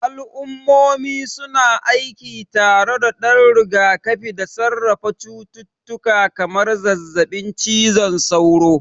Al'ummomi su na aiki tare don rigakafi da sarrafa cututtuka kamar zazzabin cizon sauro.